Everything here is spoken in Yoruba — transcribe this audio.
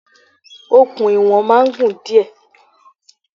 Okùn iwọ̀n máa ń gùn díẹ̀.